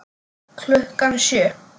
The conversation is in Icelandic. Klukkan sjö.